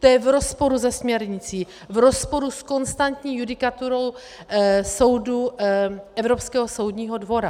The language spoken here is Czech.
To je v rozporu se směrnicí, v rozporu s konstantní judikaturou soudu Evropského soudního dvora.